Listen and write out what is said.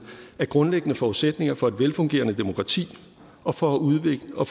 er grundlæggende forudsætninger for et velfungerende demokrati og for udviklingen af